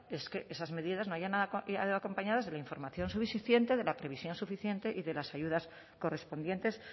es que esas medidas no hayan ido acompañadas de la información suficiente de la previsión suficiente y de las ayudas correspondientes